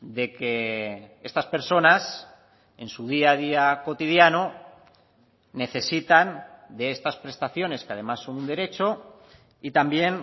de que estas personas en su día a día cotidiano necesitan de estas prestaciones que además son un derecho y también